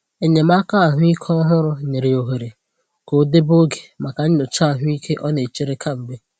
Enyémàkà ahụ́ ike òhùrù nyere ya ohere ka ọ debe oge maka nyocha ahụ́ ike ọ na-echere kemgbe.